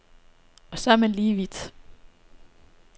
Og så er man lige vidt.